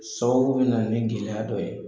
Sababu bɛ na ni gɛlɛya dɔ ye.